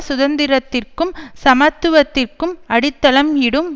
சுதந்திரத்திற்கும் சமத்துவத்திற்கும் அடித்தளம் இடும்